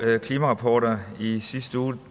klimarapporter i sidste uge